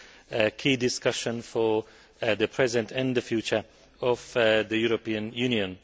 a key discussion for the present and the future of the European Union.